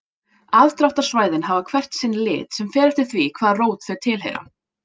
Aðdráttarsvæðin hafa hvert sinn lit sem fer eftir því hvaða rót þau tilheyra.